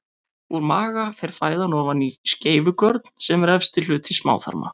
Úr maga fer fæðan ofan í skeifugörn sem er efsti hluti smáþarma.